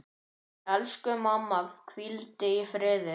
Elsku mamma, hvíldu í friði.